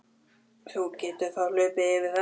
Þú getur þá hlaupið yfir þetta.